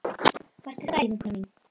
Vertu sæl vinkona mín.